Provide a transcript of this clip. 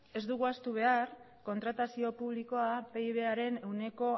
ez dugu ahaztu behar kontratazio publikoa pibaren ehuneko